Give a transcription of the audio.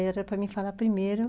Era para me falar primeiro.